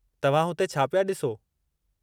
तव्हां हुते छा पिया ॾिसो?